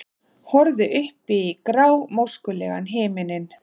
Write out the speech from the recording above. Horfði upp í grámóskulegan himininn.